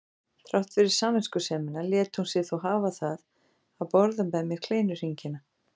Þrátt fyrir samviskusemina lét hún sig þó hafa það að borða með mér kleinuhringina.